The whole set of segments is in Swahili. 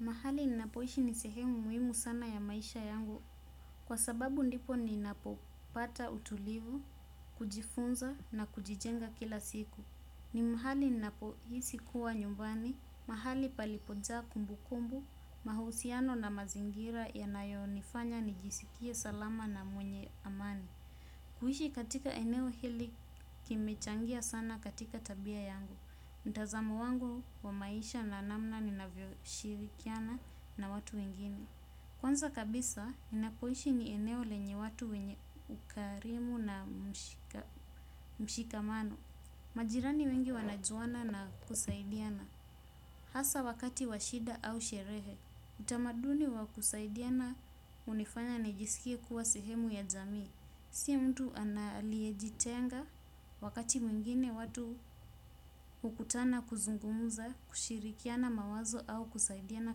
Mahali ninapoishi ni sehemu muhimu sana ya maisha yangu kwa sababu ndipo ni napopata utulivu, kujifunza na kujijenga kila siku. Ni mahali ninapohisi kuwa nyumbani, mahali palipojaa kumbu kumbu, mahusiano na mazingira yanayonifanya nijisikie salama na mwenye amani. Kuishi katika eneo hili kimechangia sana katika tabia yangu. Mtazamo wangu wa maisha na namna ninavyo shirikiana na watu wengine. Kwanza kabisa, ninapoishi ni eneo lenye watu wenye ukarimu na mshikamano. Majirani wengi wanajuana na kusaidiana. Hasa wakati wa shida au sherehe, utamaduni wa kusaidiana hunifanya nijisikie kuwa sehemu ya jamii. Si mtu aliyejitenga wakati mwingine watu hukutana kuzungumza kushirikiana mawazo au kusaidiana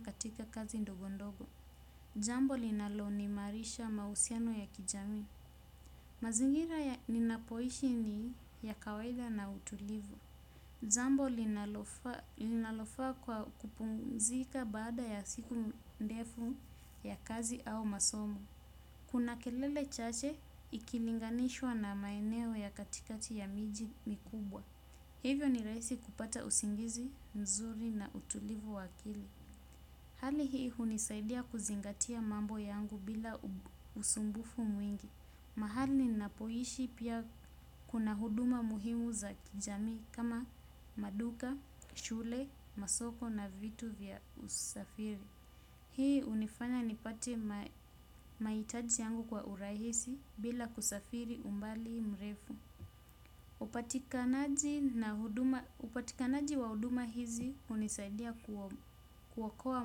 katika kazi ndogondogo. Jambo linaloimarisha mahusiano ya kijamii mazingira ya ninapoishi ni ya kawaida na utulivu. Jambo linalofaa kwa kupumzika baada ya siku ndefu ya kazi au masomo. Kuna kelele chache ikilinganishwa na maeneo ya katikati ya miji mikubwa. Hivyo ni rahisi kupata usingizi, nzuri na utulivu wa akili. Hali hii hunisaidia kuzingatia mambo yangu bila usumbufu mwingi. Mahali niapoishi pia kuna huduma muhimu za kijamii kama maduka, shule, masoko na vitu vya usafiri. Hii hunifanya nipate mahitaji yangu kwa urahisi bila kusafiri umbali mrefu. Upatikanaji wa huduma hizi hunisaidia kuokoa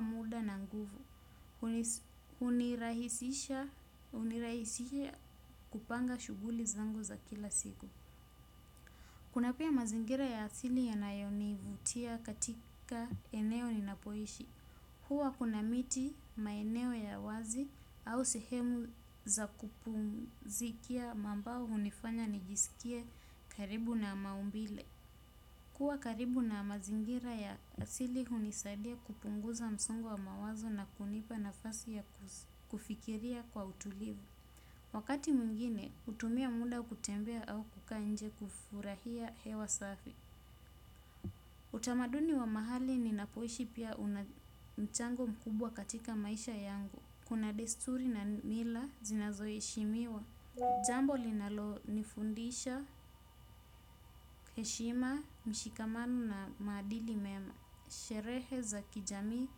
muda na nguvu. Hunirahisisha kupanga shughuli zangu za kila siku. Kuna pia mazingira ya asili yanayonivutia katika eneo ninapoishi. Hua kuna miti, maeneo ya wazi au sehemu za kupumzikia ambao hunifanya nijisikie karibu na maumbile. Kuwa karibu na mazingira ya asili hunisadia kupunguza msungo wa mawazo na kunipa nafasi ya kufikiria kwa utulivu. Wakati mwingine, hutumia muda kutembea au kukaa nje kufurahia hewa safi. Utamaduni wa mahali ninapoishi pia una mchango mkubwa katika maisha yangu. Kuna desturi na mila zinazoheshimiwa jambo linalo nifundisha heshima mshikamano na maadili mema. Sherehe za kijamii,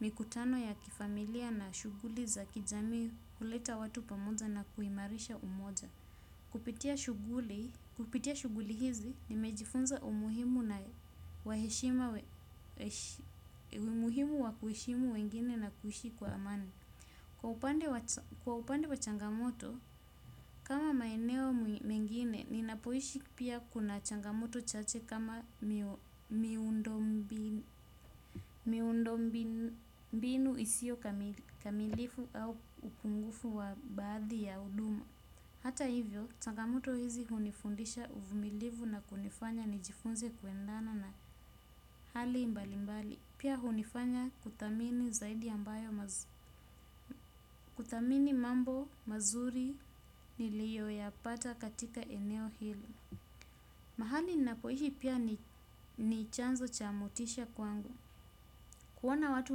mikutano ya kifamilia na shughuli za kijamii huleta watu pamoja na kuimarisha umoja. Kupitia shughuli hizi, nimejifunza umuhimu na umuhimu wa kuheshimu wengine na kuishi kwa amani. Kwa upande wa changamoto, kama maeneo mengine, ninapoishi pia kuna changamoto chache kama miundo mbinu isiyo kamilifu au upungufu wa baadhi ya huduma. Hata hivyo, changamoto hizi hunifundisha uvumilivu na kunifanya nijifunze kuendana na hali mbalimbali. Pia hunifanya kuthamini zaidi ambayo kuthamini mambo mazuri niliyo yapata katika eneo hili. Mahali ninapoishi pia ni chanzo cha motisha kwangu. Kuoana watu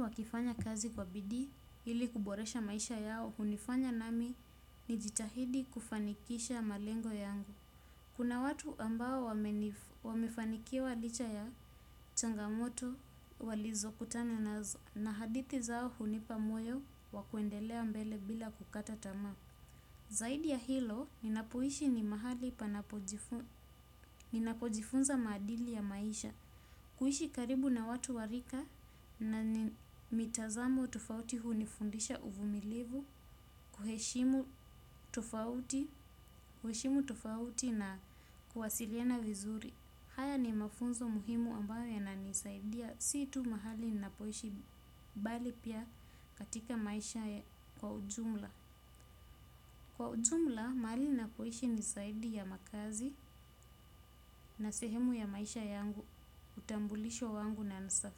wakifanya kazi kwa bidii ili kuboresha maisha yao. Hunifanya nami ni jitahidi kufanikisha malengo yangu. Kuna watu ambao wamefanikiwa licha ya changamoto walizo kutana nazo. Na hadithi zao hunipa moyo wa kuendelea mbele bila kukata tamaa. Zaidi ya hilo, ninapoishi ni mahali ninapojifunza maadili ya maisha. Kuishi karibu na watu wa rika na ni mitazamo tofauti hunifundisha uvumilivu. Kuheshimu tofauti na kuwasiliana vizuri. Haya ni mafunzo muhimu ambayo yananisaidia. Si tu mahali ninapoishi bali pia katika maisha kwa ujumla kwa ujumla mahali ninapoishi ni zaidi ya makaazi na sehemu ya maisha yangu utambulisho wangu na.